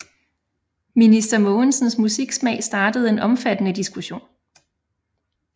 Minister Mogensens musiksmag startede en omfattende diskussion